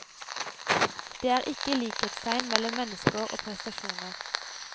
Det er ikke likhetstegn mellom mennesker og prestasjoner.